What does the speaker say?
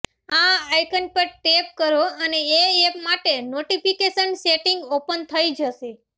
આ આઈકન પર ટેપ કરો અને એ એપ માટે નોટિફિકેશન સેટિંગ ઓપન થઈ જશે